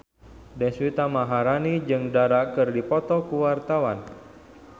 Deswita Maharani jeung Dara keur dipoto ku wartawan